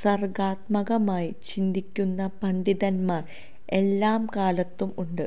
സര്ഗാത്മകമായി ചിന്തിക്കുന്ന പണ്ഡിതന്മാര് എല്ലാ കാലത്തും ഉണ്ട്